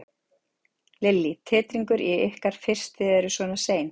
Lillý: Titringur í ykkur fyrst þið eruð svona sein?